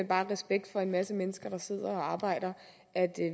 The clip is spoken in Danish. bare i respekt for en masse mennesker der sidder og arbejder at